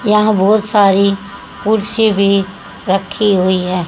वहां बहोत सारी कुर्सी भी रखी हुई है।